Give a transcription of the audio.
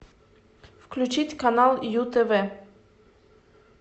включить канал ю тв